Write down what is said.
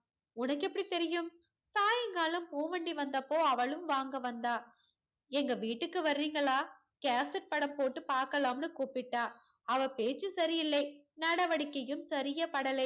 உனக்கு எப்படித் தெரியும் சாயங்காலம் பூ வண்டி வந்தப்போ அவளும் வாங்க வந்தா. எங்க வீட்டுக்கு வர்றீங்களா cassette படம் போட்டு பாக்கலாம்னு கூப்பிட்டா. அவ பேச்சு சரியில்லை நடவடிக்கையும் சரியாபடலை.